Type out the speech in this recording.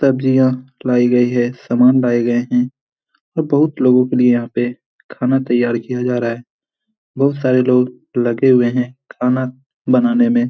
सब्जियां लाई गई हैं। सामान लाए गए हैं और बहुत लोगों के लिए यहाँ पे खाना तैयार किया जा रहा है । बहुत सारे लोग लगे हुए हैं खाना बनाने में ।